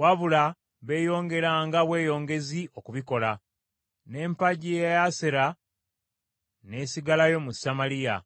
wabula beeyongeranga bweyongezi okubikola. N’empagi ey’Asera n’esigalayo mu Samaliya.